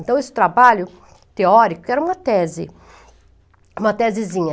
Então, esse trabalho teórico era uma tese, uma tesezinha.